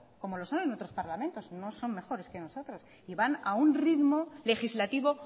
como lo son en otros parlamentos no son mejores que nosotros y van a un ritmo legislativo